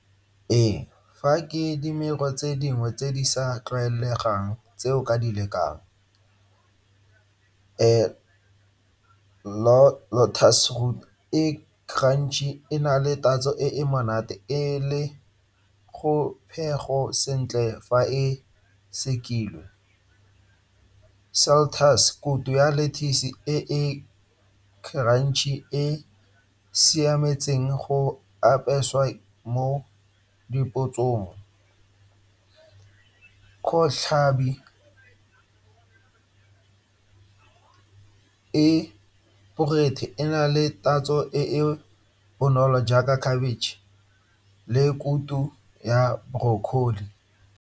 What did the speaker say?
Ee, fa ke tse dingwe tse di sa tlwaelegang tse o ka di lekang. e ga ntsi e na le tatso e e monate e le go phego sentle fa e sekilwe. Kutu ya lettuce e e e e siametseng go apeswa mo e e borethe e na le tatso e e bonolo jaaka cabbage le kutu ya broccoli.